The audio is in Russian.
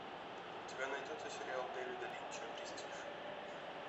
у тебя найдется сериал девида линча престиж